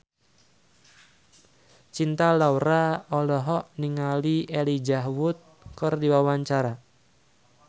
Cinta Laura olohok ningali Elijah Wood keur diwawancara